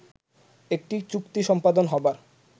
একটি চুক্তি সম্পাদন হবার